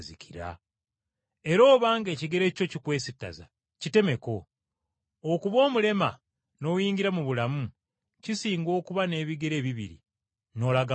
Era obanga ekigere kyo kikwesittaza, kitemeko; okuba omulema n’oyingira mu bulamu kisinga okuba n’ebigere ebibiri n’osuulibwa mu ggeyeena